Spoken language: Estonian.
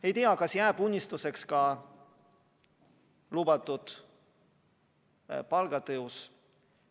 Ei tea, kas jääb unistuseks ka lubatud palgatõus.